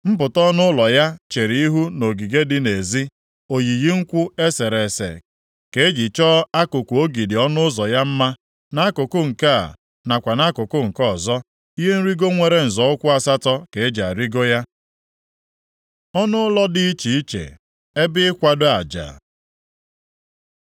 Mpụta ọnụ ụlọ ya chere ihu nʼogige dị nʼezi. Oyiyi nkwụ e sere ese ka eji chọọ akụkụ ogidi ọnụ ụzọ ya mma, nʼakụkụ nke a, nakwa nʼakụkụ nke ọzọ. Ihe nrigo nwere nzọ ụkwụ asatọ ka eji arịgo ya. Ọnụụlọ dị iche iche ebe ikwado aja